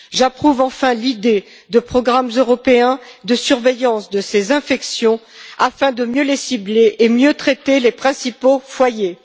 Enfin, j'approuve l'idée de programmes européens de surveillance de ces infections afin de mieux les cibler et de mieux traiter les principaux foyers.